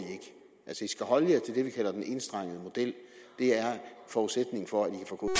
skal holde jer til det vi kalder den enstrengede model det er forudsætningen for at